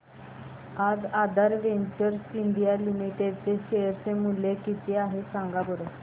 आज Aadhaar Ventures India Limited चे share चे मूल्य किती आहे सांगा बरं